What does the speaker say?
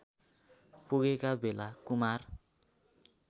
पुगेका बेला कुमार